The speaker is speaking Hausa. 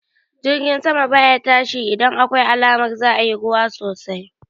Jirgi sama baya tashi idan akwai alamar za'a yi ruwa sosai